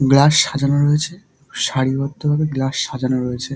Glass সাজানো রয়েছে সারিবদ্ধ ভাবে গ্লাস সাজানো রয়েছে।